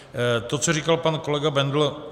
To, co říkal pan kolega Bendl.